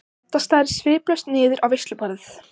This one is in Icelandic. Edda starir sviplaus niður á veisluborð.